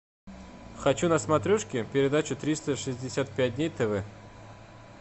хочу на смотрешке передачу триста шестьдесят пять дней тв